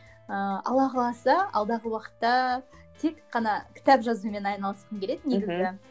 ыыы алла қаласа алдағы уақытта тек қана кітап жазумен айналысқым келеді негізі